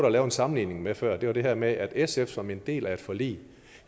at lave en sammenligning med før var det her med at sf som en del af et forlig